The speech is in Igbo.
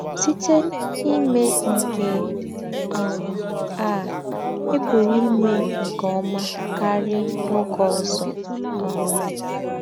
Sítè n’ímè nké um à, ì̀ pùrù ímè nké ọ́mà kárì n’ógé ózọ́.” um